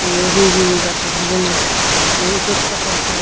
iye he he goton hijeni he ejap goton tenga.